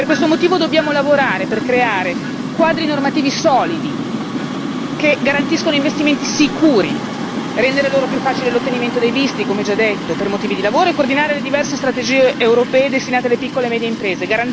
Per questo motivo dobbiamo lavorare per creare quadri normativi solidi che garantiscano investimenti sicuri, rendere loro più facile l'ottenimento dei visti, come già detto, per motivi di lavoro e coordinare le diverse strategie europee destinate alle piccole e medie imprese.